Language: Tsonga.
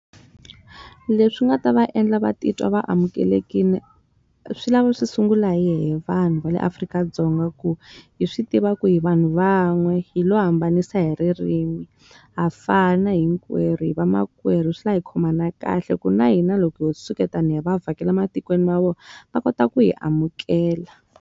Leswi nga ta va endla va titwa va amukelekile swi lava swi sungula hina vanhu va le Afrika-Dzonga ku hi swi tiva ku hi vanhu van'we, hi lo hambanisa hi ririmi. Ha fana hi hinkwerhu hi vamakwerhu swi lava hi khomana kahle, ku na hina loko ho suketana hi va vhakela matikweni ma vona, va kota ku hi amukela.